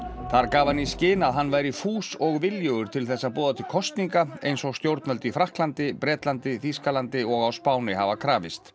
þar gaf hann í skyn að hann væri fús og viljugur til þess að boða til kosninga eins og stjórnvöld í Frakklandi Bretlandi Þýskalandi og á Spáni hafa krafist